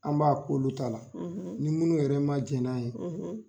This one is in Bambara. An b'a k'olu ta la ni minnu yɛrɛ ma jɛn n'a ye.